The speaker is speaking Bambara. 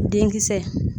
Denkisɛ